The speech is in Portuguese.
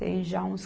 Tem já uns